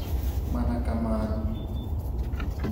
mana kamano